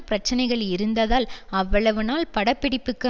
பிரச்சனைகள் இருந்ததால் அவ்வளவுநாள் பட பிடிப்புக்கு